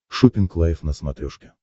шоппинг лайф на смотрешке